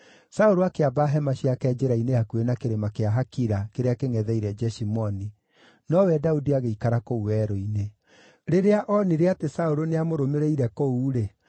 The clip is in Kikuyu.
Saũlũ akĩamba hema ciake njĩra-inĩ hakuhĩ na kĩrĩma kĩa Hakila kĩrĩa kĩngʼetheire Jeshimoni, nowe Daudi agĩikara kũu werũ-inĩ. Rĩrĩa onire atĩ Saũlũ nĩamũrũmĩrĩire kũu-rĩ,